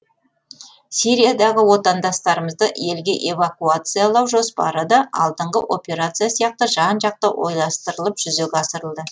сириядағы отандастарымызды елге эвакуациялау жоспары да алдыңғы операция сияқты жан жақты ойластырылып жүзеге асырылды